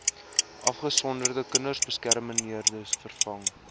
afgesonderde kinderbeskermingseenhede vervang